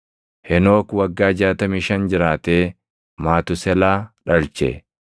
Henook waggaa 65 jiraatee Matuuselaa dhalche.